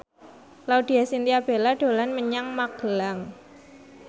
Laudya Chintya Bella dolan menyang Magelang